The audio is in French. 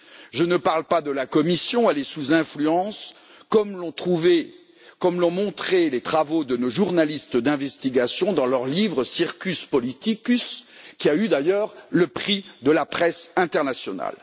Je ne parle pas de la Commission, elle est sous influence, comme l'ont montré les travaux de nos journalistes d'investigation dans leur livre Circus politicus, qui a d'ailleurs reçu le prix de la presse internationale.